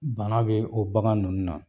Bana bɛ o bagan ninnu na.